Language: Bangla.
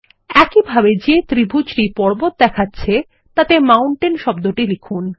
একইভাবে যে ত্রিভুজটি পর্বত দেখাচ্ছে তাতে মাউন্টেইন শব্দটি লিখুন